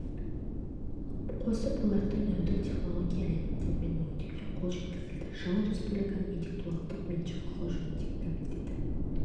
қосып оларды нөлдік технология элементтерімен өңдеуге қол жеткізілді жылы республиканың интеллектуалдық меншік құқы жөніндегі комитеті